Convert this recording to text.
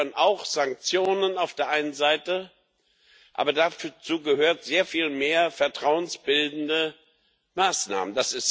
Dazu gehören auch Sanktionen auf der einen Seite, aber dazu gehören sehr viel mehr vertrauensbildende Maßnahmen.